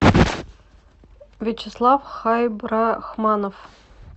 вячеслав хайбрахманов